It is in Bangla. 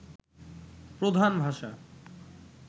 প্রধান ভাষা